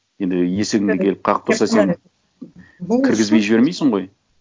енді есігіңді келіп қағып тұрса кіргізбей жібермейсің ғой